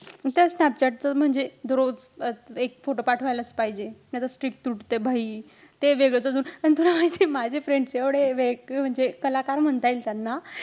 त्या स्नॅपचॅटचं म्हणजे, दरोज एक photo पाठवायलाचं पाहिजे. नाही त streak तुटते. भाई ते वेगळंच अजून. आणि तुला माहितेय माझे friends एवढे एक म्हणजे कलाकार म्हणता येईल त्यांना.